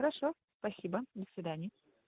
хорошо спасибо до свидания